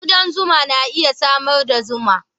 Kudan zuma na iya samar da zuma.